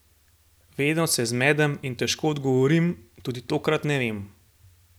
Vedno se zmedem in težko odgovorim, tudi tokrat ne vem.